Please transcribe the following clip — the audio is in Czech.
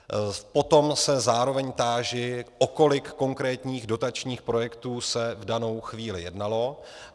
Potom se zároveň táži, o kolik konkrétních dotačních projektů se v danou chvíli jednalo.